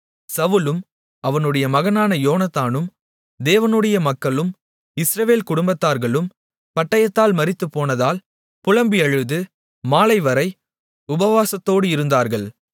சவுலும் அவனுடைய மகனான யோனத்தானும் யெகோவாவுடைய மக்களும் இஸ்ரவேல் குடும்பத்தார்களும் பட்டயத்தால் மரித்து போனதால் புலம்பி அழுது மாலைவரை உபவாசத்தோடு இருந்தார்கள்